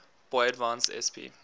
boy advance sp